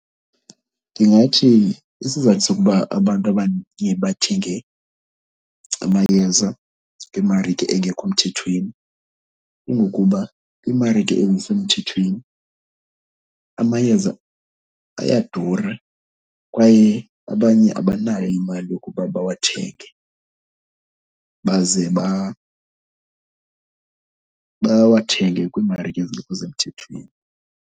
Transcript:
Ndingathi isizathu sokuba abantu bathenge amayeza kwimarike engekho mthethweni kungokuba iimarike ezisemthethweni amayeza ayadura kwaye abanye abanayo imali yokuba bawathenge, baze bawathenge kwimarike ezingekho semthethweni.